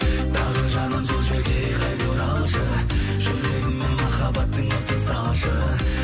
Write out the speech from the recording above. тағы жаным сол жерге қайта оралшы жүрегіме махаббаттың отын салшы